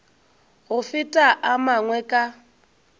go feta a mangwe ka